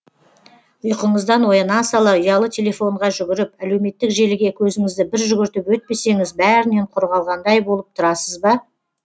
ұйқыңыздан ояна сала ұялы телефонға жүгіріп әлеуметтік желіге көзіңізді бір жүгіртіп өтпесеңіз бәрінен құр қалғандай болып тұрасыз ба